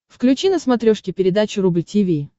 включи на смотрешке передачу рубль ти ви